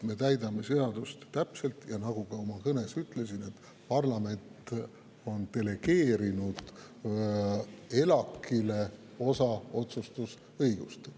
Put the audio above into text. Me täidame seadust täpselt, ja nagu ma ka oma kõnes ütlesin, parlament on delegeerinud ELAK‑ile osa otsustusõigust.